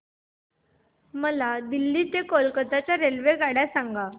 मला दिल्ली ते कोलकता च्या रेल्वेगाड्या सांगा